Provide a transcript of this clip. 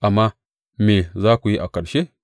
Amma me za ku yi a ƙarshe?